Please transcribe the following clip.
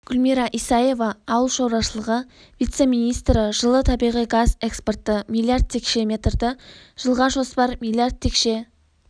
гүлмира исаева ауыл шаруашылығы вице-министрі жылы табиғи газ экспорты миллиард текше метрді жылға жоспар миллиард текше